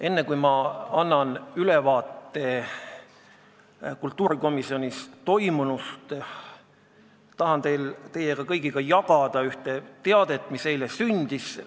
Enne kui ma annan ülevaate kultuurikomisjonis toimunust, tahan teie kõigiga jagada ühte teadet selle kohta, mis eile sündis.